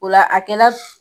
Ola a kɛla